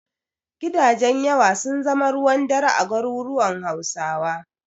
Gidajen yawa sun zama ruwan dare a garuruwan Hausawa.